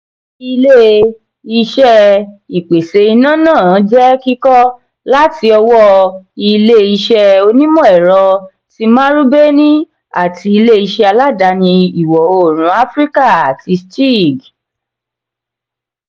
ilé-iṣé ìpèsè iná náà jẹ kíkọ́ láti ọwọ́ ilé-iṣé onimọ-ẹrọ ti marubeni àti ilé-iṣé aládàáni ìwọ òórùn áfíríkà tí steag